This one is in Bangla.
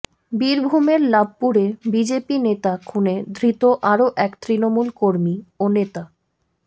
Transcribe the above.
বীরভূমের লাভপুরে বিজেপি নেতা খুনে ধৃত আরও এক তৃণমল কর্মী ও নেতা